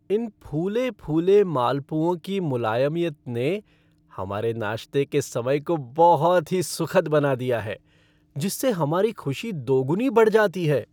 इन फूले फूले मालपुओं की मुलायमियत ने हमारे नाश्ते के समय को बहुत ही सुखद बना दिया है जिससे हमारी खुशी दोगुनी बढ़ जाती है।